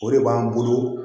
O de b'an bolo